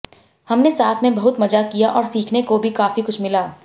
हमने साथ में बहुत मजा किया और सीखने को भी काफी कुछ मिला